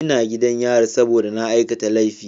Ina gidan yari saboda na aikata laifi.